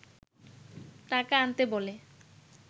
টাকা আনতে বলে